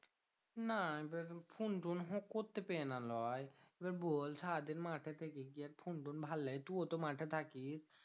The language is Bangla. না এবার ফুন টুন্ হু করতে পেয়ে না লয়। এবার বল ছাদের মাঠেতে গিয়ে আর ফোন টোন ভালো লাগে। তুও তো মাঠে থাকিস।